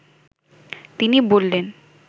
তিনি বললেন